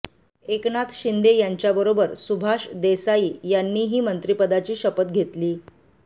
एकनाथ शिंदे यांच्याबरोबर सुभाष देसाई यांनीही मंत्रिपदाची शपथ घेतली